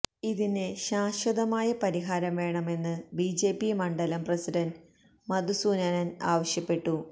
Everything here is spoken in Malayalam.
ഇതിന് ശാശ്വതമായ പരിഹാരം വേണമെന്ന് ബിജെപി മണ്ഡലം പ്രസിഡന്റ് മധുസൂദനന് ആവശ്യപ്പെട്ടു